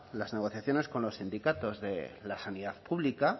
las negociaciones con los sindicatos de la sanidad pública